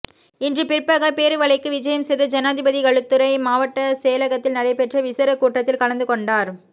இன்று பிற்பகல் பேருவளைக்கு விஜயம் செய்த ஜனாதிபதி களுத்துறை மாவட்ட செயலகத்தில் நடைபெற்ற விசேட கூட்டத்தில் கலந்துகொண்டார்